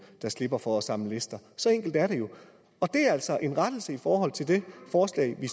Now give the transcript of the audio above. der slipper for at samle lister så enkelt er det jo og det er altså en rettelse i forhold til det forslag vi